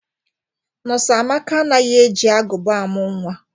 Nọs Amaka anaghị e ji agụba amụ nwa.